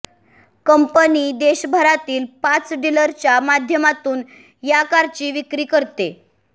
company देशभरातील पाच डिलरच्या माध्यमातून या कारची विक्री करते